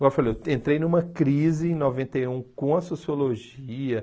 Igual eu falei, eu entrei numa crise em noventa e um com a sociologia.